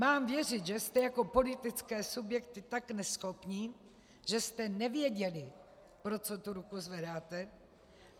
Mám věřit, že jste jako politické subjekty tak neschopní, že jste nevěděli, pro co tu ruku zvedáte?